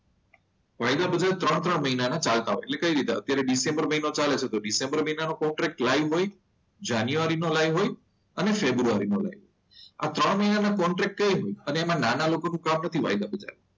વાયદા બજાર ત્રણ ત્રણ મહિનાના ચાલતા હોય એટલે કઈ રીતે અત્યારે ડિસેમ્બર મહિનો ચાલે છે. તો ડિસેમ્બર મહિનાનો પ્રોબ્લેમ હોય જાન્યુઆરી નો લાઈવ હોય અને ફેબ્રુઆરી નો આ ત્રણ મહિનાના કોન્ટ્રાક્ટ હોય. એમાં નાના લોકોનું કામ નથી વાયદા બજારમાં.